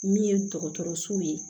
Min ye dɔgɔtɔrɔso ye